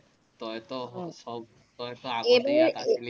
তইতো চব তইতো